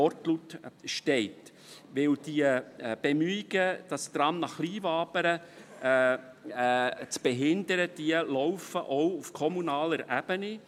Denn die Bemühungen, das Tram nach Kleinwabern zu behindern, laufen auch auf kommunaler Ebene.